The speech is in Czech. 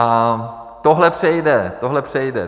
A tohle přejde, tohle přejde.